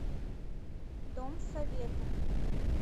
дом советов